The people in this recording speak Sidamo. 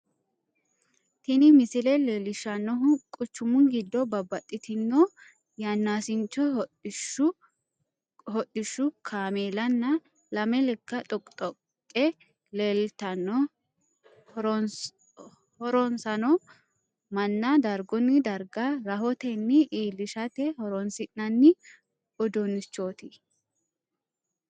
Tini misile leelishanohu quchumu gido babbaxitino yanaasincho hodhishu kaameellanna lame leka dhoqidhoqe leelitano horonsano Manna dargunni darga rahotenni iilishate horoonsi'nanni uduunichooti.